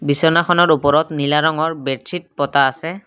বিচনাখনৰ ওপৰত নীলা ৰঙৰ বেডচিত পতা আছে।